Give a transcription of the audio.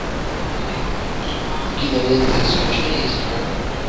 кинолента исключение из правил